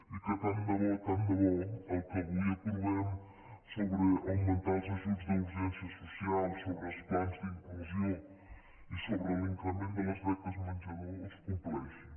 i que tant de bo tant de bo el que avui aprovem sobre augmentar els ajuts d’urgència social sobre els plans d’inclusió i sobre l’increment de les beques menjador es compleixi